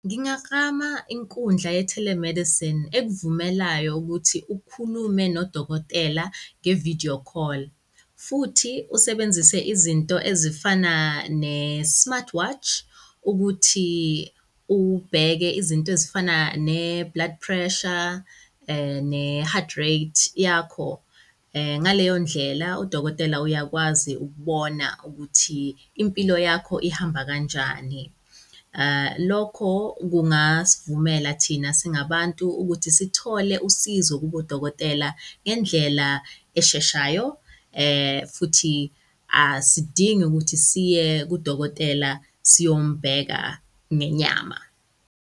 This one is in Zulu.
Ngingaklama inkundla ye-telemedicine ekuvumelayo ukuthi ukhulume nodokotela nge-video call futhi usebenzise izinto ezifana ne-smart watch ukuthi ubheke izinto ezifana ne-blood pressure ne-heart rate yakho. Ngaleyondlela, udokotela uyakwazi ukubona ukuthi impilo yakho ihamba kanjani. Lokho kungasivumela thina singabantu ukuthi sithole usizo kubo odokotela ngendlela esheshayo futhi asidingi ukuthi siye kudokotela siyombheka ngenyama.